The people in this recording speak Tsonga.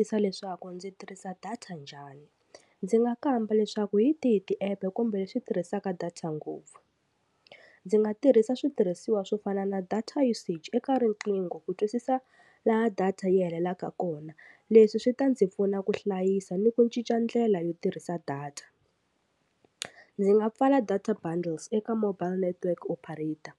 Tisa leswaku ndzi tirhisa data njhani ndzi nga kamba leswaku hi tihi tiepu kumbe leswi tirhisaka data ngopfu ndzi nga tirhisa switirhisiwa swo fana na data usage eka riqingho ku twisisa laha data yi hetelelaka kona leswi swi ta ndzi pfuna ku hlayisa ni ku cinca ndlela yo tirhisa data ndzi nga pfala data bundles eka mobile network operator